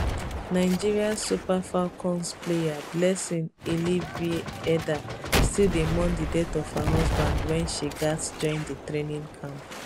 nigeria super falcons player blessing illivieda still dey mourn di death of her husband wen she gatz join di training camp